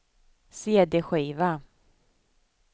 cd-skiva